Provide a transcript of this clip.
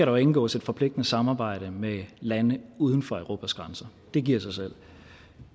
jo indgås et forpligtende samarbejde med lande uden for europas grænser det giver sig selv